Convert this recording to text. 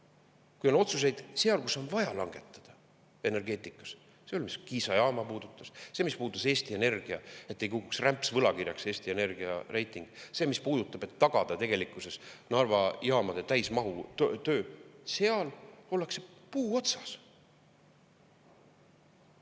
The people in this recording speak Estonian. Kui on otsuseid seal, kus on vaja langetada, energeetikas, see, mis puudutas Kiisa jaama, see, mis puudutas, et Eesti Energia ei kukuks rämpsvõlakirjaks Eesti Energia reiting, see, mis puudutab, et tagada tegelikkuses Narva jaamade täismahus töö – seal ollakse puu otsas.